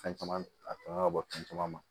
Fɛn caman a kan ka bɔ fɛn caman ma